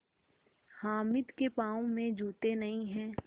हामिद के पाँव में जूते नहीं हैं